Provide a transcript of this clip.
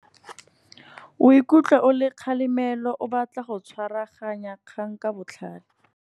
O ikutlwa o le kgalemelo, o batla go tshwaraganya kgang ka botlhale.